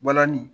Balani